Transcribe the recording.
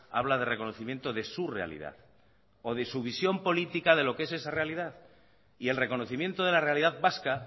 habla de reconocimiento de su realidad o de su visión política de lo que es esa realidad y el reconocimiento de la realidad vasca